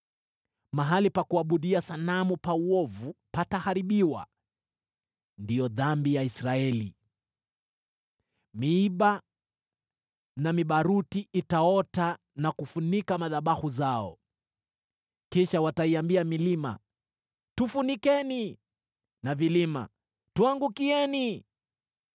Mahali pa kuabudia sanamu pa uovu pataharibiwa: ndiyo dhambi ya Israeli. Miiba na mibaruti itaota na kufunika madhabahu zao. Kisha wataiambia milima, “Tufunikeni!” na vilima, “Tuangukieni!”